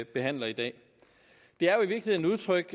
behandles i dag det er jo i virkeligheden udtryk